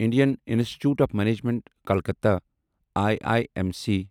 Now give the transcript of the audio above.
Indian Institute of Management Calcutta I I M C